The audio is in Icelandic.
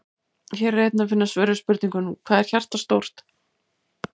Hér er einnig að finna svör við spurningunum: Hvað er hjartað stórt?